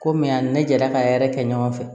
Komi a ni ne delila ka yɛrɛ kɛ ɲɔgɔn fɛ